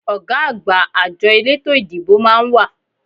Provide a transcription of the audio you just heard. Ọ̀gá àgbà àjọ eleto ìdìbò máa ń wà